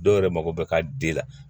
Dɔw yɛrɛ mako bɛ ka den la